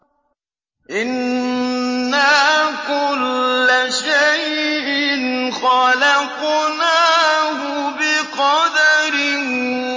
إِنَّا كُلَّ شَيْءٍ خَلَقْنَاهُ بِقَدَرٍ